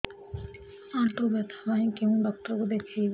ଆଣ୍ଠୁ ବ୍ୟଥା ପାଇଁ କୋଉ ଡକ୍ଟର ଙ୍କୁ ଦେଖେଇବି